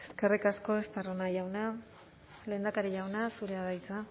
eskerrik asko estarrona jauna lehendakari jauna zurea da hitza